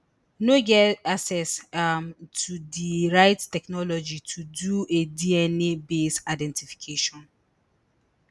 no get access um to di right technology to do a dnabased identification